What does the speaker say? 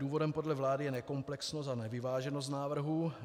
Důvodem podle vlády je nekomplexnost a nevyváženost návrhu.